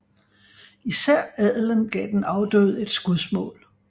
Især adelen gav den afdøde et skudsmål